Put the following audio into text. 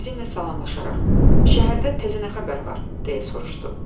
Bizimlə salamlaşaraq, "Şəhərdə təzə nə xəbər var?" deyə soruşdu.